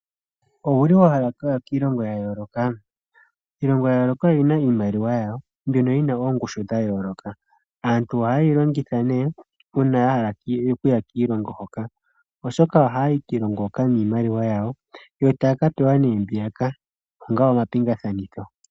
Owuli wahala okuya kiilongo yayooloka? Iilongo yayooloka oyina iimaliwa yayo mbyoka yina oongushu dhayooloka. Aantu ohayeyi longitha uuna yahala okuya kiilongo hoka. Oshoka ohaayi kiilongo hoka niimaliwa yawo yo tayaka pewa mbiyaka onga omapingathanitho.